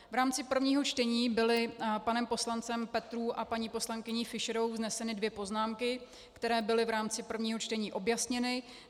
V rámci prvního čtení byly panem poslancem Petrů a paní poslankyní Fischerovou vzneseny dvě poznámky, které byly v rámci prvního čtení objasněny.